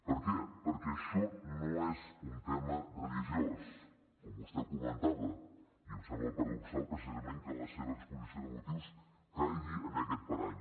per què perquè això no és un tema religiós com vostè comentava i em sembla paradoxal precisament que en la seva exposició de motius caigui en aquest parany